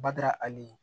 Bada hali